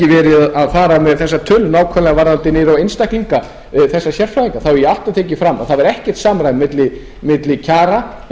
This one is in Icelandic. hafi ekki farið með þessar tölur nákvæmlega varðandi einstaklinga þessa sérfræðingar hef ég alltaf tekið fram að það var ekkert samræmi milli kjara